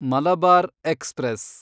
Malabar express